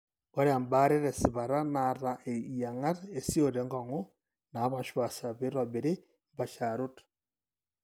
Ore embaare tesipata neeta iyieng'at esiote enkong'u naapaashipaasha peitobiri impaasharot.